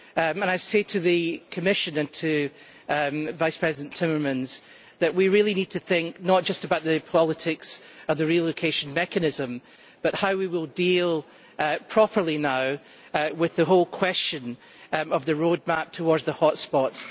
And I say to the Commission and to Vice President Timmermans that we really need to think not just about the politics of the relocation mechanism but also about how we will deal properly with the question of the roadmap towards the hotspots.